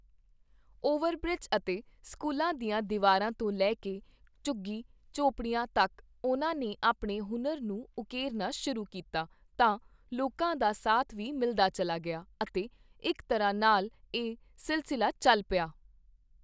Over bridge ਅਤੇ ਸਕੂਲਾਂ ਦੀਆਂ ਦੀਵਾਰਾਂ ਤੋਂ ਲੈ ਕੇ ਝੁੱਗੀ ਝੌਂਪੜੀਆਂ ਤੱਕ ਉਨ੍ਹਾਂ ਨੇ ਆਪਣੇ ਹੁਨਰ ਨੂੰ ਉਕੇਰਨਾ ਸ਼ੁਰੂ ਕੀਤਾ ਤਾਂ, ਲੋਕਾਂ ਦਾ ਸਾਥ ਵੀ ਮਿਲਦਾ ਚਲਾ ਗਿਆ ਅਤੇ ਇਕ ਤਰ੍ਹਾਂ ਨਾਲ ਇਹ ਸਿਲਸਿਲਾ ਚਲ ਪਿਆ।